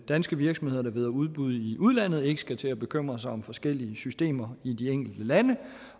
danske virksomheder der vinder udbud i udlandet ikke skal til at bekymre sig om forskellige systemer i de enkelte lande